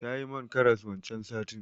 Tayi man karas wancan satin.